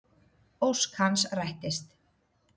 Ósk hans rættist.